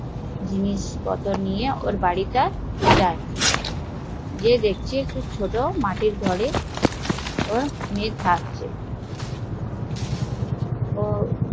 নিয়ে ওর বাড়িতে যায়, দেখছে ওর মেয়ে একটা ছোট মাটির ঘরে থাকছে